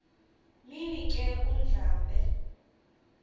mini ke undlambe